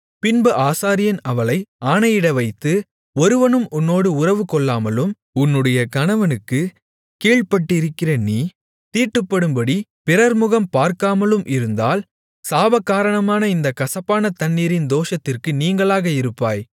பின்பு ஆசாரியன் அவளை ஆணையிட வைத்து ஒருவனும் உன்னோடு உறவுகொள்ளாமலும் உன்னுடைய கணவனுக்கு கீழ்பட்டிருக்கிற நீ தீட்டுப்படும்படி பிறர்முகம் பார்க்காமலும் இருந்தால் சாபகாரணமான இந்தக் கசப்பான தண்ணீரின் தோஷத்திற்கு நீங்கலாக இருப்பாய்